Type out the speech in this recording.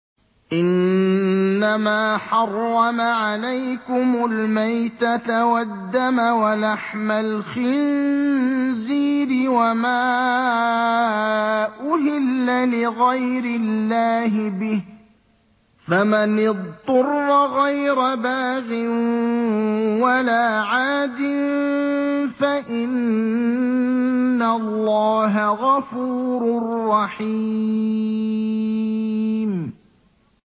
إِنَّمَا حَرَّمَ عَلَيْكُمُ الْمَيْتَةَ وَالدَّمَ وَلَحْمَ الْخِنزِيرِ وَمَا أُهِلَّ لِغَيْرِ اللَّهِ بِهِ ۖ فَمَنِ اضْطُرَّ غَيْرَ بَاغٍ وَلَا عَادٍ فَإِنَّ اللَّهَ غَفُورٌ رَّحِيمٌ